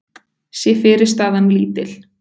sé fyrirstaðan lítil.